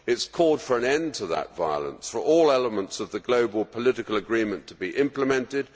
It has called for an end to that violence and for all elements of the global political agreement to be implemented.